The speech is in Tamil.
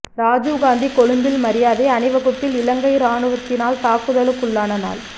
ராஜீவ் காந்தி கொழும்பில் மரியாதை அணிவகுப்பில் இலங்கை ராணுவத்தினால் தாக்குதலுக்குள்ளான நாள்